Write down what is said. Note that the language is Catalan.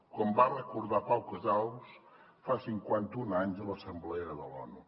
com va recordar pau casals fa cinquanta un anys a l’assemblea de l’onu